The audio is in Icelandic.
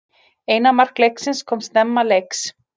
Eina mark leiksins koma snemma leiks